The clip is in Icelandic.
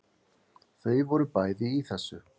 Þau voru bæði í þessu.